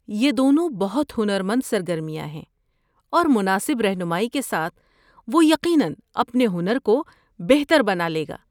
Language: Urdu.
یہ دونوں بہت ہنرمند سرگرمیاں ہیں اور مناسب رہنمائی کے ساتھ وہ یقیناً اپنے ہنر کو بہتر بنا لے گا۔